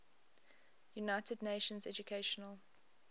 united nations educational